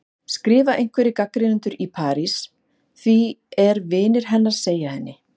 skrifa einhverjir gagnrýnendur í París, að því er vinir hennar segja henni.